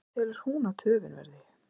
En hver telur hún að töfin verði?